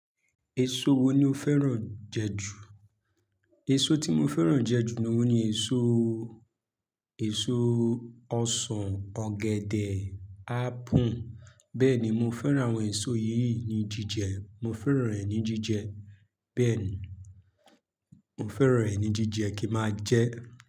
Èso wo ni o fẹ́ràn jẹ jù? Èso tí mo fẹ́ràn jẹ jù lọ ni èso, èso ọsàn, ọ̀gẹ̀dẹ̀, ápù. Bẹ́ẹ̀ni, mo fẹ́ràn àwọn èso yìí ní jíjẹ. Mo fẹ́ràn rẹ̀ ní jíjẹ. Bẹ́ẹ̀ni, mo fẹ́ràn rẹ̀ ní jíjẹ kí máa jẹ.